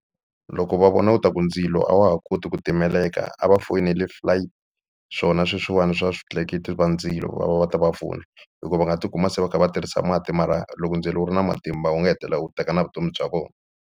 Loko va vona u ta ku ndzilo a wa ha koti ku timeleka a va foyineli flight swona sweswiwani swa switleketli va ndzilo va va va ta va pfuna hikuva va nga tikuma se va kha va tirhisa mati mara loko ndzilo wu ri na matimba wu nga hetelela u teka na vutomi bya vona.